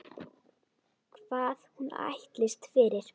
Hvað hún ætlist fyrir.